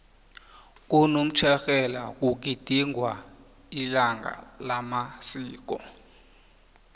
konomtjherhelo kugidingwa ilanga lamasiko